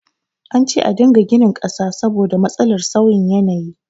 An ce a dinga ginin ƙasa saboda matsalar sauyin yanayi